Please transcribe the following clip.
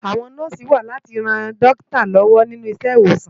Awòn Nòsi wà láti ròn Dòkitá lòwò ni Ilé-Iwósán